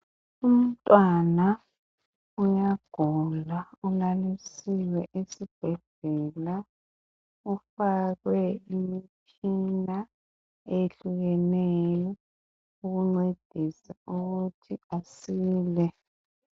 Umntwana uyagula. Ulalilisiwe esibhedlela. Ufakwe imitshina eyehlukeneyo. Ukuncedisa ukuthi asile.